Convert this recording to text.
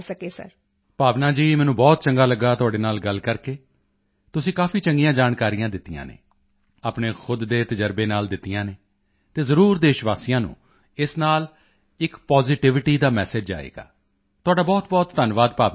ਭਾਵਨਾ ਜੀ ਮੈਨੂੰ ਬਹੁਤ ਚੰਗਾ ਲੱਗਾ ਤੁਹਾਡੇ ਨਾਲ ਗੱਲ ਕਰਕੇ ਤੁਸੀਂ ਕਾਫੀ ਚੰਗੀਆਂ ਜਾਣਕਾਰੀਆਂ ਦਿੱਤੀਆਂ ਹਨ ਆਪਣੇ ਖੁਦ ਦੇ ਤਜ਼ਰਬੇ ਨਾਲ ਦਿੱਤੀਆਂ ਹਨ ਤਾਂ ਜ਼ਰੂਰ ਦੇਸ਼ਵਾਸੀਆਂ ਨੂੰ ਇਸ ਨਾਲ ਇੱਕ ਪਾਜ਼ਿਟਿਵਿਟੀ ਦਾ ਮੈਸੇਜ ਜਾਵੇਗਾ ਤੁਹਾਡਾ ਬਹੁਤਬਹੁਤ ਧੰਨਵਾਦ ਭਾਵਨਾ ਜੀ